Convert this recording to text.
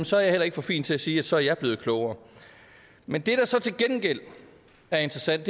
så er jeg heller ikke for fin til at sige at så er jeg blevet klogere men det der så til gengæld er interessant